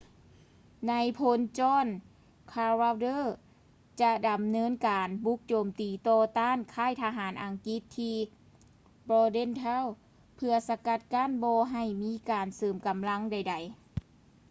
ນາຍພົນ john cadwalder ຈະດຳເນີນການບຸກໂຈມຕີຕໍ່ຕ້ານຄ້າຍທະຫານອັງກິດທີ່ bordentown ເພື່ອສະກັດກັ້ນບໍ່ໃຫ້ມີການເສີມກຳລັງໃດໆ